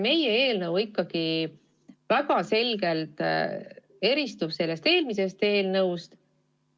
Meie eelnõu ikkagi väga selgelt eristub sellest eelmisest eelnõust.